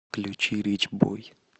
включи рич бой